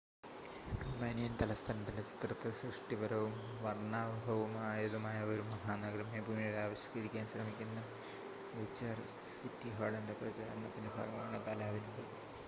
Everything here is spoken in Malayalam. റൊമാനിയൻ തലസ്ഥാനത്തിൻ്റെ ചിത്രത്തെ സൃഷ്ടിപരവും വർണ്ണാഭമായതുമായ ഒരു മഹാനഗരമായി പുനരാവിഷ്ക്കരിക്കാൻ ശ്രമിക്കുന്ന ബുച്ചാറസ്റ്റ് സിറ്റി ഹാളിൻ്റെ പ്രചാരണത്തിൻ്റെ ഭാഗമാണ് കലാവിരുത്